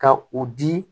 Ka u di